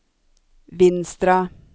Vinstra